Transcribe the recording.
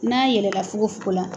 N'a yɛlɛla fogofogo la